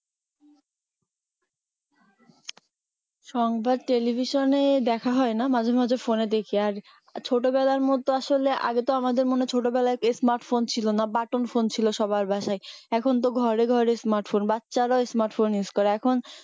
সংবাদ টেলিভিশনে দেখা হয়না মাঝে মাঝে phone দেখি আর ছোটর মতো আসলে আগে তো আমাদের মানে ছোটবেলার smart phone ছিল না বাটন phone ছিল সবার বাসাই এখন তো ঘরে ঘরে smart phone বাচ্ছারাও smart phone use করে এখন